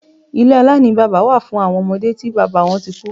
Ilé aláìní bábá wà fún awọn ọmọde tí bábá wọn tí kú.